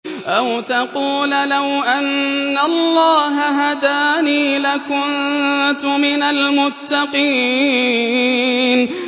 أَوْ تَقُولَ لَوْ أَنَّ اللَّهَ هَدَانِي لَكُنتُ مِنَ الْمُتَّقِينَ